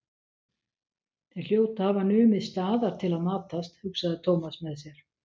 Þeir hljóta að hafa numið staðar til að matast, hugsaði Thomas með sér.